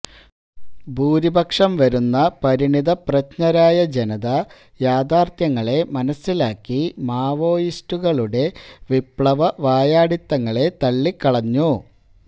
ഭൂരിപക്ഷം വരുന്ന പരിണതപ്രജ്ഞരായ ജനത യാഥാര്ത്ഥ്യങ്ങളെ മനസ്സിലാക്കി മാവോയിസ്റ്റുകളുടെ വിപ്ലവവായാടിത്തങ്ങളെ തള്ളിക്കളഞ്ഞു